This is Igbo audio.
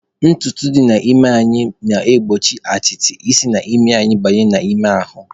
Ntutu dị n'imi anyị na-egbochi atịtị isi n'imi banye anyị n'ime ahụ.